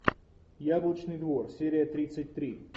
яблочный двор серия тридцать три